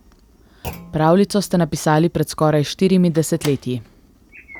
Pravljico ste napisali pred skoraj štirimi desetletji...